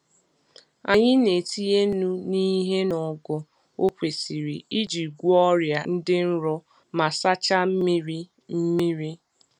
Anyị na-etinye nnu n'ihe n’ogo o kwesiri iji gwọọ ọrịa dị nro ma sachaa mmiri. mmiri.